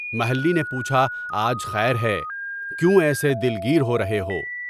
محلّی نے پوچھا آج خیر ہے؟ کیوں ایسے دلگیر ہو رہے ہو؟